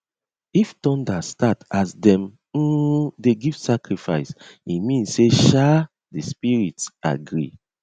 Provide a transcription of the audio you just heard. if thunder start as dem um dey give sacrifice e mean say um di spirits agree